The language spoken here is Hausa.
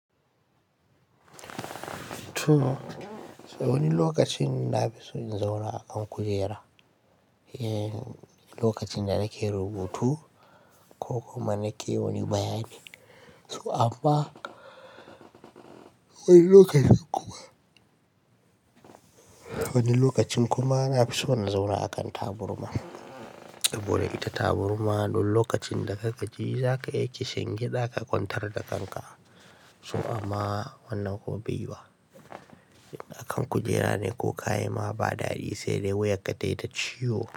Wani lokacin na fi so in zauna a kan kujera. En lokacin da na ke rubutu ko kuma na ke wani bayani. So amma wani lokacin kuma, wani lokacin kuma na fi so in zauna a kan taburma. Boda ita taburma don lokacin da ka gaji za ka yi kishingida ka kwantar da kanka. So amma wannan gobe wa akan kujera ne ko ka yi ma ba daɗi sai dai wuyar ka taita ciwo.